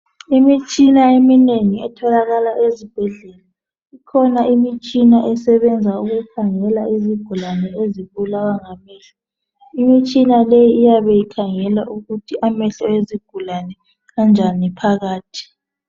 Imitshina eminengi etholakala ezibhedlela. Ikhona esebenza ukukhangela izigulane ezibulawa ngamehlo. Iyabe ikhangela ukuthi amehlo ezigulane anjani phakathi.